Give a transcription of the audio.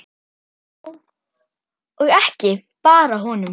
Já, og ekki bara honum.